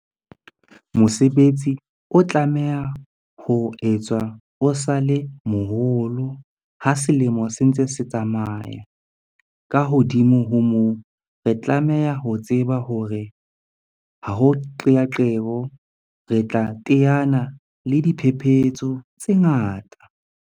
Mosebetsi o tlamehang ho etswa o sa le moholo ha selemo se ntse se tsamaya. Ka hodimo ho moo, re tlameha ho tseba hore ha ho qeaqeo, re tla teana le diphephetso tse ngata.